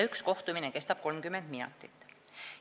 Üks kohtumine kestab 30 minutit.